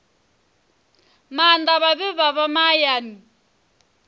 maanḓa vhane vha vha mahayani